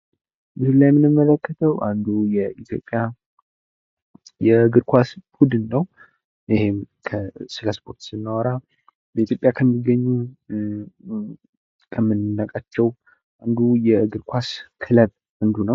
እዚህ ላይ የምንመለከተዉ አንዱ የኢትዮጵያ የእግር ኳስ ቡድን ነው ስለ ስፖርት ስናወራ በኢትዮጵያ ከሚገኙ ከምናውቃቸው የእግር ኳስ ቡድኖች አንድ ነው።